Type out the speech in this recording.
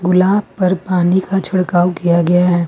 गुलाब पर पानी का छिड़काव किया गया है।